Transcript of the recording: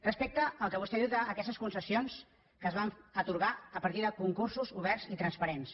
respecte al que vostè diu d’aquestes concessions que es van atorgar a partir de concursos oberts i transparents